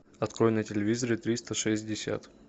открой на телевизоре триста шестьдесят